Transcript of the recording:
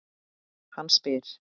Hann spyr.